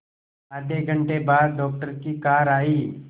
आधे घंटे बाद डॉक्टर की कार आई